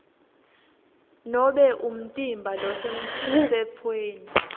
nobe umtimba losemtsetfweni